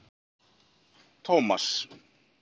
Tómas